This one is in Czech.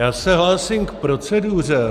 Já se hlásím k proceduře.